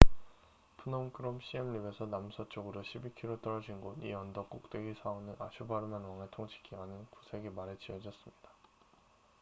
프놈 끄롬 씨엠립에서 남서쪽으로 12km 떨어진 곳 이 언덕 꼭대기 사원은 야쇼바르만 왕의 통치 기간인 9세기 말에 지어졌습니다